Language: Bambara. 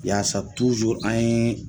Yaasa an ye.